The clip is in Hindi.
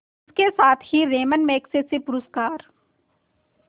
इसके साथ ही रैमन मैग्सेसे पुरस्कार